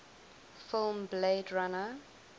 film blade runner